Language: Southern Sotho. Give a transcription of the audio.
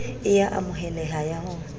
e a amoheleha ya ho